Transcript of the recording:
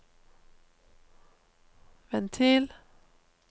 ventil